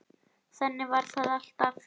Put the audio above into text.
Þannig var það alltaf.